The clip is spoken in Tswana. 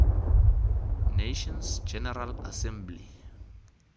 nations general assembly